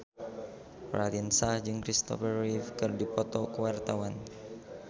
Raline Shah jeung Christopher Reeve keur dipoto ku wartawan